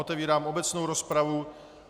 Otevírám obecnou rozpravu.